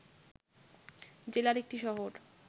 জেলার একটি শহর